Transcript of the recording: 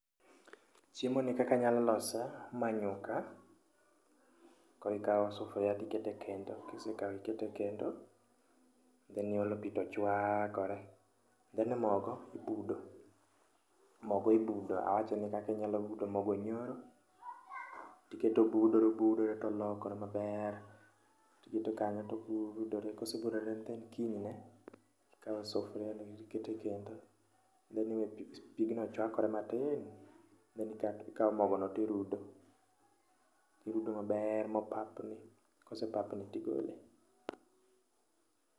Chiemo ni kakanyalo lose, ma nyuka. Korikawo sufria tikete kendo, kisekawo ikete kendo, then iole pi to chwakore. Then e mogo ibudo, mogo ibudo awacho ni kakinyalo budo mogo nyoro. Tiketo obudore obudore tolokore maber, tiketo kanyo tobudore. Kosebudore then kinyne ikawo sufria no tikete kendo. Then iwe pigno chwakore matin, then ikawo mogono tirudo, irudo maber mopapni. Kosepapni tigole.